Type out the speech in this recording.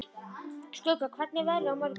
Skugga, hvernig er veðrið á morgun?